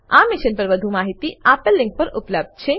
આ મિશન પર વધુ જાણકારી આપેલ લીંક પર ઉપબ્ધ છે